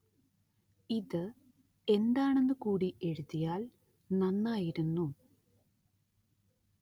ഇത് എന്താണെന്ന് കൂടി എഴുതിയാല്‍ നന്നായിരുന്നു